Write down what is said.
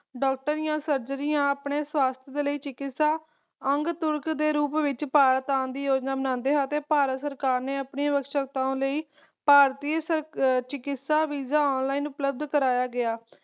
doctor ਆ surgery ਆਪਣੇ ਸਵਾਸਥ ਦੇ ਲਈ ਚਿਕਿਸਤਾ ਅੰਗ ਤੁਲਕ ਦੇ ਰੂਪ ਵਿਚ ਭਾਰਤ ਆਉਣ ਦੀ ਯੋਜਨਾ ਬਣਾਉਂਦੇ ਅਤੇ ਭਾਰਤ ਸਰਕਾਰ ਨੇ ਆਪਣੇ ਅਵਸ਼ਕਤਾਵਾਂ ਲਈ ਭਾਰਤੀ ਚਿਕਿਸਤਾ Visa Online ਉਪਲਬਧ ਕਰਵਾਇਆ ਗਿਆ